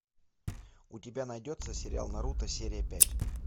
у тебя найдется сериал наруто серия пять